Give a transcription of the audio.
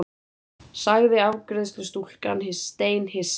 sagði afgreiðslustúlkan steinhissa.